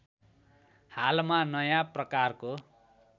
हालमा नयाँ प्रकारको